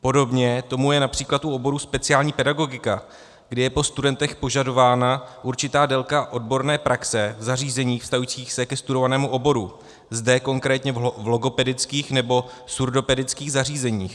Podobně tomu je například u oboru speciální pedagogika, kdy je po studentech požadována určitá délka odborné praxe v zařízeních vztahujících se ke studovanému oboru - zde konkrétně v logopedických nebo surdopedických zařízeních.